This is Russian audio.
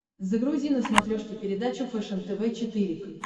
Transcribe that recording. загрузи на смотрешке передачу фэшен тв четыре к